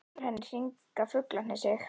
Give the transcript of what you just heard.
Og yfir henni hringa fuglarnir sig.